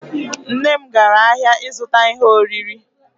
Nne m gara ahịa ịzụta ihe oriri.